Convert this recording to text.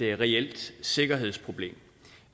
reelt sikkerhedsproblem